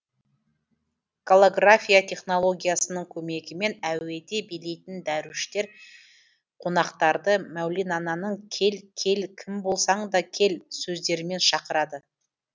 голография технологиясының көмегімен әуеде билейтін дәруіштер қонақтарды мәулананың кел кел кім болсаң да кел сөздерімен шақырады